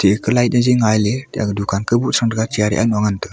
eka light ye ngai ley dukan kaubuk Trang chair aaknu ngan taga.